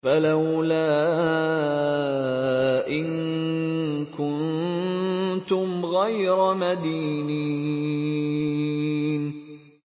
فَلَوْلَا إِن كُنتُمْ غَيْرَ مَدِينِينَ